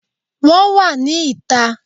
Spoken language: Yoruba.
Wọ́n wà ní ìta